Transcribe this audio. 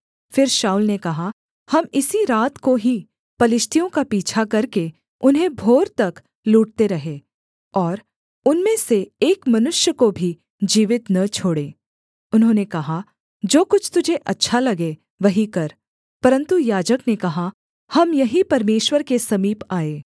फिर शाऊल ने कहा हम इसी रात को ही पलिश्तियों का पीछा करके उन्हें भोर तक लूटते रहें और उनमें से एक मनुष्य को भी जीवित न छोड़ें उन्होंने कहा जो कुछ तुझे अच्छा लगे वही कर परन्तु याजक ने कहा हम यहीं परमेश्वर के समीप आएँ